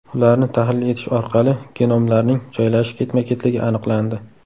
Ularni tahlil etish orqali genomlarning joylashish ketma-ketligi aniqlandi.